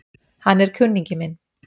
Hann er kunningi minn